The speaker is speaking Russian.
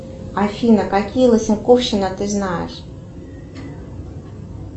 афина какие лысоковщина ты знаешь